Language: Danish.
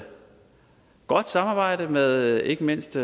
godt samarbejde med ikke mindst